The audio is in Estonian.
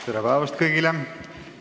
Tere päevast kõigile!